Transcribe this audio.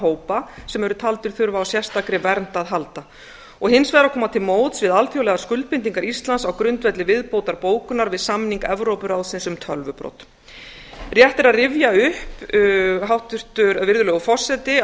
hópa sem eru taldir þurfa á sérstakri vernd að halda og hins vegar að koma til móts við alþjóðlegar skuldbindingar íslands á grundvelli viðbótarbókunar við samning evrópuráðsins um tölvubrot virðulegur forseti rétt er að rifja upp að